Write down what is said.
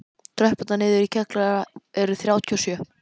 Tröppurnar niður í kjallara eru þrjátíu og sjö.